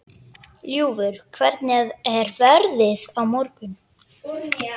Ljúfur, hvernig er veðrið á morgun?